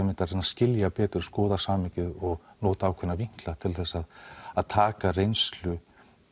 skilja betur og skoða samhengið og nota ákveðna til þess að að taka reynslu